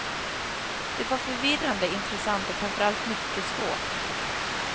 Det var förvirrande, intressant och framförallt mycket svårt.